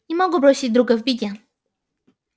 не могу бросить друга в беде